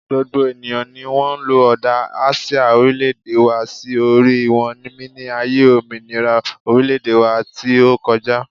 gbogbo eniyan ni won lo oda asia orileede wa si ori won mini aye ominira orileede wa ti o koja